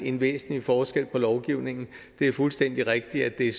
en væsentlig forskel på lovgivningen det er fuldstændig rigtigt at det